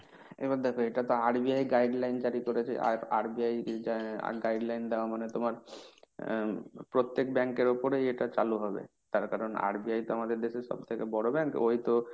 এবার দেখো এটা তো RBI guideline জারি করেছে। RBI আহ guideline দেওয়া মানে তোমার উম প্রত্যেক bank এর উপরেই এটা চালু হবে। তার কারণ RBI তো আমাদের দেশের সবথেকে বড় bank, ওই তো